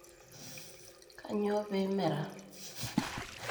Kanyioo pee imera?